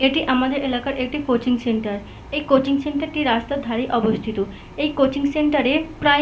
এটি আমাদের এলাকার এক -টি কোচিং সেন্টার । এই কোচিং সেন্টারটি রাস্তার ধারে অবস্থিত । এই কোচিং সেন্টারে প্রায়--